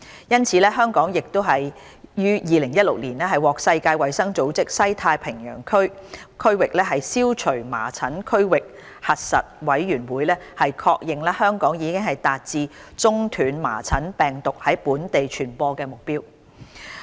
因此，香港亦於2016年獲世界衞生組織西太平洋區域消除麻疹區域核實委員會確認，香港已達至中斷麻疹病毒在本地傳播的目標。